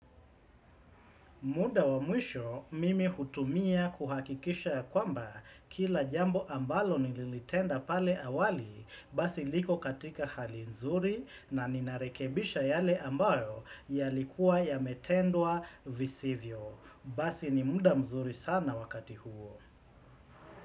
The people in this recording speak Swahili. Muda wa mwisho mimi hutumia kuhakikisha ya kwamba kila jambo ambalo nililitenda pale awali basi liko katika hali nzuri na ninarekebisha yale ambayo yalikuwa ya metendwa visivyo. Basi ni muda mzuri sana wakati huo.